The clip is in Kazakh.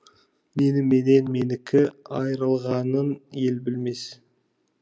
мені менен менікі айрылғанын ел білмес